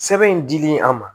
Sɛbɛn in dili an ma